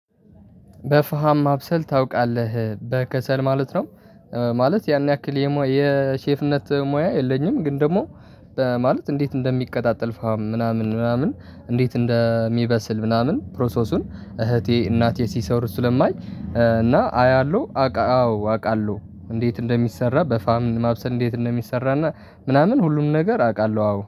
በፋሃም ማብሰል ታውቃለህ በከሰል ማለት ነው። ማለት ያን ያክል የሼፍነት ሙያ የለኝም። ግን ደግሞ ማለት እንዴት እንደሚቀጣጠል ፋም ምናምን ምናምን እንዴት እንደሚበስል ምናምን ፕሮሰሱን እህቴ እናቴ ሲሰሩ ስለማይ እና አያለሁ አቃ አዎ አውቃለሁ። እንዴት እንደሚሰራ በፋም ማብሰል እንዴት እንደሚሰራና ምናምን ሁሉንም ነገር አውቃለሁ አዎ